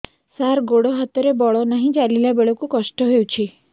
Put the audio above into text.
ସାର ଗୋଡୋ ହାତରେ ବଳ ନାହିଁ ଚାଲିଲା ବେଳକୁ କଷ୍ଟ ହେଉଛି